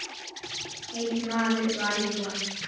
Einn maður var um borð.